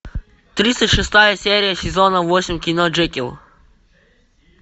тридцать шестая серия сезона восемь кино джекилл